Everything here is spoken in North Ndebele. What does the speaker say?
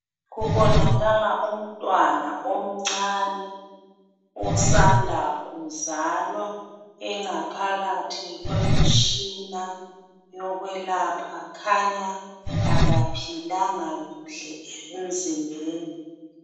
Kubonakala umntwana omncane osanda kuzalwa engaphakathi kwemitshina yokwelapha khanya kaphilanga kuhle emzimbeni.